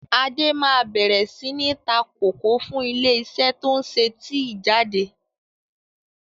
Adé máa bẹ̀rẹ̀ sini ta kòkó fún ilé isẹ́ to ń ṣe tíì jáde.